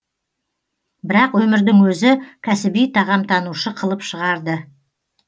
бірақ өмірдің өзі кәсіби тағамтанушы қылып шығарды